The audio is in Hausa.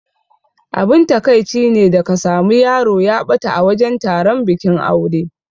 Abin takaici ne da ka sami yaro ya ɓata a wajan taron bikin aure.